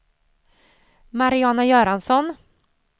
Mariana Göransson